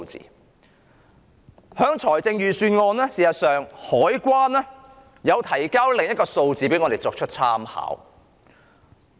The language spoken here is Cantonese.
在財政預算案中，香港海關提供了另一些數字給我們作參考。